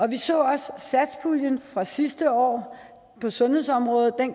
vi så også satspuljen fra sidste år på sundhedsområdet